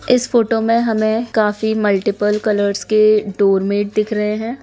इस फोटो में हमें काफी मल्टीपल कलर्स के डोरमैट दिख रहें हैं।